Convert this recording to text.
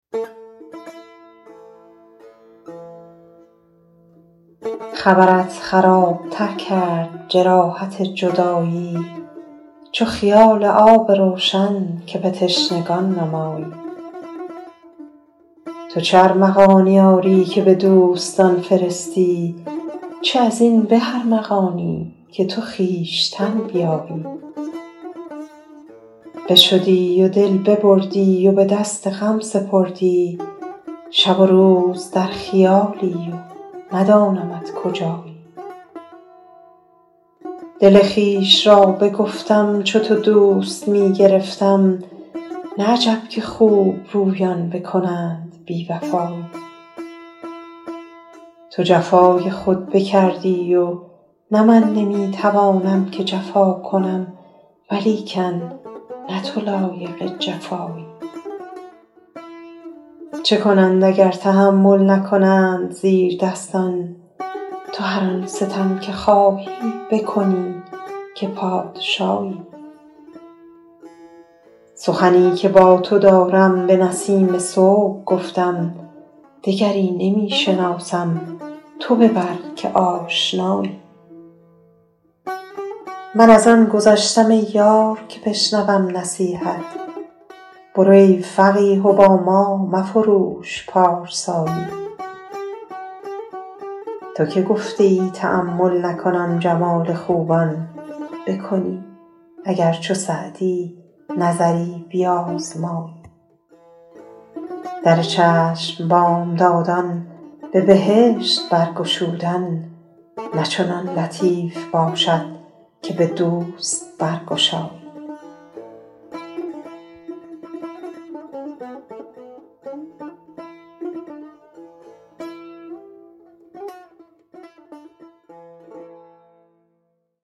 خبرت خراب تر کرد جراحت جدایی چو خیال آب روشن که به تشنگان نمایی تو چه ارمغانی آری که به دوستان فرستی چه از این به ارمغانی که تو خویشتن بیایی بشدی و دل ببردی و به دست غم سپردی شب و روز در خیالی و ندانمت کجایی دل خویش را بگفتم چو تو دوست می گرفتم نه عجب که خوبرویان بکنند بی وفایی تو جفای خود بکردی و نه من نمی توانم که جفا کنم ولیکن نه تو لایق جفایی چه کنند اگر تحمل نکنند زیردستان تو هر آن ستم که خواهی بکنی که پادشایی سخنی که با تو دارم به نسیم صبح گفتم دگری نمی شناسم تو ببر که آشنایی من از آن گذشتم ای یار که بشنوم نصیحت برو ای فقیه و با ما مفروش پارسایی تو که گفته ای تأمل نکنم جمال خوبان بکنی اگر چو سعدی نظری بیازمایی در چشم بامدادان به بهشت برگشودن نه چنان لطیف باشد که به دوست برگشایی